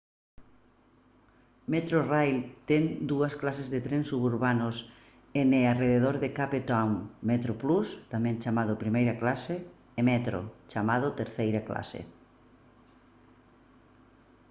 metrorail ten dúas clases de trens suburbanos en e arredor de cape town: metroplus tamén chamado primeira clase e metro chamado terceira clase